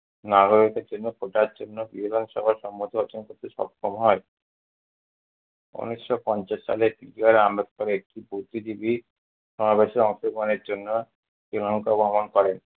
নাগরিকদের জন্য কোটার জন্য বিধানসভার সম্মত অর্জন করতে সক্ষম হয়। ঊনিশশো পঞ্চাশ সালে আম্বেদকর একটি বুদ্ধিজীবী সমাবেশে অংশগ্রহণের জন্য শ্রীলংকা ভ্রমন করেন।